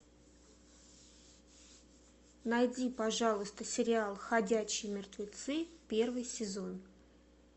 найди пожалуйста сериал ходячие мертвецы первый сезон